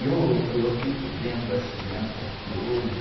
E eu, eu fico vendo as crianças de hoje...